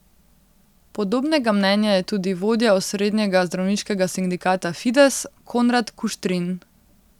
Podobnega mnenja je tudi vodja osrednjega zdravniškega sindikata Fides, Konrad Kuštrin.